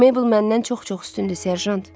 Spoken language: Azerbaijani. Mabel məndən çox-çox üstündür, Serjant.